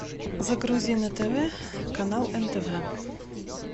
загрузи на тв канал нтв